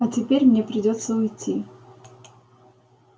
а теперь мне придётся уйти